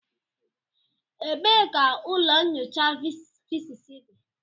Ebee ka ụlọ nyocha Fiziks dị?